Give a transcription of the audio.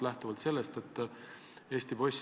Peame ära ootama, millistele järeldustele seal jõutakse.